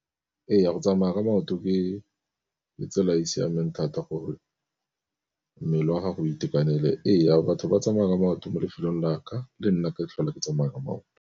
Ee, go tsamaya ka maoto ke tsela e e siameng thata gore mmele wa gago itekanele. Ee, batho ba tsamaya ka maoto mo lefelong la ka le nna ke tlhole ke tsamaya ka maoto.